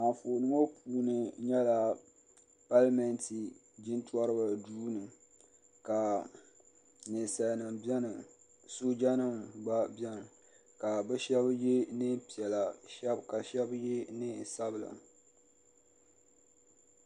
Anfooni ŋɔ puuni nyɛla palimɛnti jintɔriba duu ni ka ninsali nima bɛni sooja nima gba bɛni ka bi shɛba yɛ niɛn piɛla ka shɛba yɛ niɛn sabila.